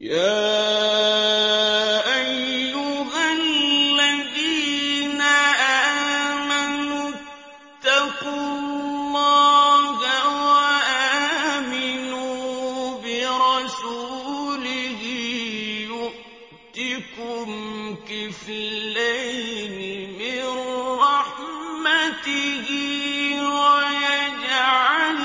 يَا أَيُّهَا الَّذِينَ آمَنُوا اتَّقُوا اللَّهَ وَآمِنُوا بِرَسُولِهِ يُؤْتِكُمْ كِفْلَيْنِ مِن رَّحْمَتِهِ وَيَجْعَل